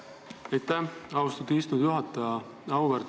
Aitäh, austatud istungi juhataja!